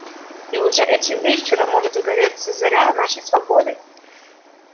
и уже этим вечером может загореться заря нашей свободы